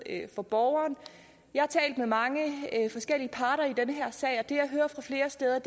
for borgeren jeg har talt med mange forskellige parter i den her sag og det jeg hører fra flere steder